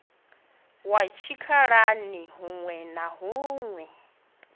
wa tshikhalani huṋwe na huṋwe